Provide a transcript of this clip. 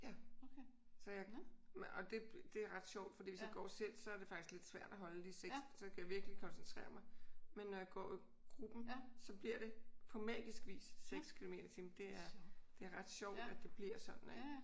Ja. Så jeg og det det er ret sjovt fordi hvis jeg går selv så er det faktisk ret svært at holde de 6 kilometer så skal jeg virkelige koncentrere mig. Men når jeg går i gruppen så bliver det på magisk vis 6 kilometer i timen. Det er ret sjovt at det bliver sådan ik?